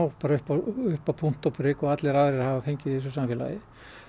upp á upp á punkt og prik og aðrir hafa fengið í þessu samfélagi